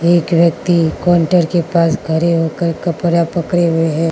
एक व्यक्ति काउंटर के पास खड़े होकर कपड़ा पकड़े हुए है।